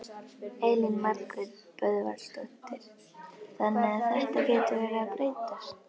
Elín Margrét Böðvarsdóttir: Þannig að þetta gæti verið að breytast?